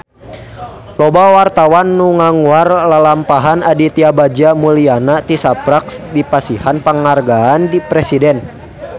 Loba wartawan anu ngaguar lalampahan Aditya Bagja Mulyana tisaprak dipasihan panghargaan ti Presiden